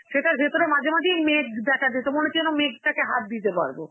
সেটার ভেতরে মাঝে মাঝেই মেঘ দেখা যেত, মনে হচ্ছে যেন মেঘটাকে হাত দিতে পারব.